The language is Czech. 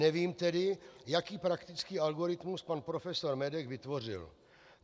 Nevím tedy, jaký praktický algoritmus pan profesor Medek vytvořil.